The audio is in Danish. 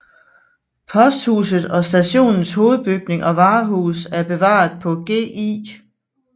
Posthuset og stationens hovedbygning og varehus er bevaret på Gl